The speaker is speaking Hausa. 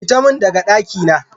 Fita min daga dakina!